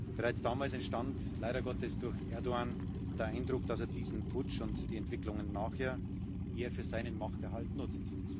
Bereits damals entstand leider Gottes durch Erdoğan der Eindruck, dass er diesen Putsch und die Entwicklungen nachher eher für seinen Machterhalt nutzt.